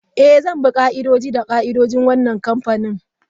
Eh, zan bi ka'idoji da ka'idojin wannan kamfani.